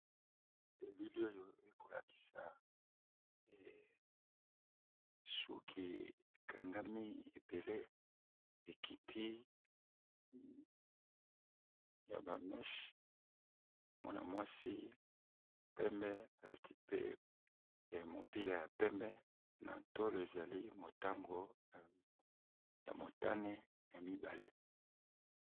Elili oyo ekolakisa suki ekangami ebele ekiti ya ba meche ya mwana-mwasi pembe alati pe mopila ya pembe na tolo ezali motango ya motane ya mibale.